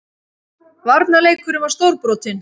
Varnarleikurinn var stórbrotinn